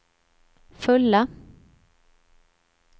fulla